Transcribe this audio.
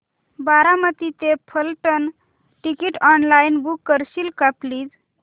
बारामती ते Phaltan ticket online book करशील का प्लीज